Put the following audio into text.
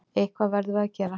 Eitthvað verðum við að gera.